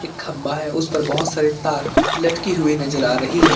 खंभा है उस पर बहुत सारी तार लटकी हुई नजर आ रही है।